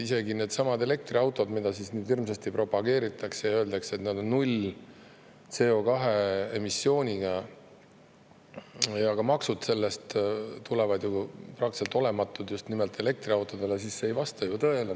Isegi needsamad elektriautod, mida hirmsasti propageeritakse ja öeldakse, et nad on null CO2 emissiooniga ja nende maksud tulevad selle tõttu praktiliselt olematud – see ei vasta ju tõele.